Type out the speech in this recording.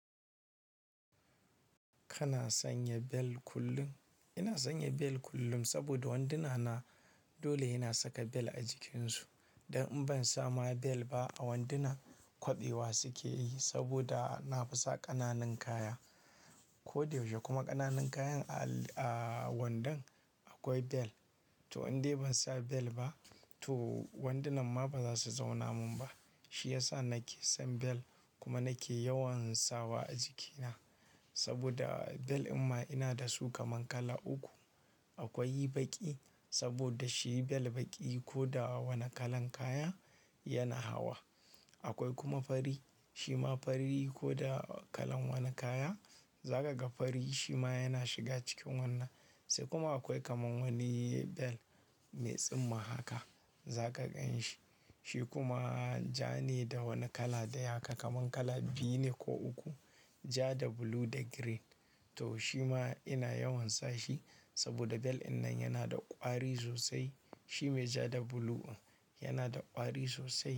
Kana sanya bel kullum? Ina sanya bel kullum saboda wanduna na dole hena saka bel a jikinsu. Dan in ban sa ma bel ba a wanduna kwabewa suke yi saboda na fi sa ƙananun kaya. Ko da yaushe kuma ƙananun kayan a al-- a wandan akwai bel. To in dai ban sa bel ba to wandunan ma ba za su zauna min ba. Shi ya sa nake son bel kuma nake yawan sawa a jikina saboda bel inma da su kaman kala uku. Akwai baƙi saboda shi bel baƙi ko da wane kalan kaya yana hawa. Akwai kuma fari, shi ma fari ko da kalan wane kaya za ka ga fari shi ma yana shiga cikin wannan. Sai kuma akwai kaman wani bel mai tsimma haka za ka gan shi. Shi kuma ja ne da wani kala dai haka kaman kala biyu ne ko uku, ja da blue da green. To shi ma ina yawan sa shi saboda bel dinnan yana da ƙwari sosai. Shi mai ja da blue in yana da ƙwari sosai.